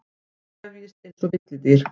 Krefjist einsog villidýr.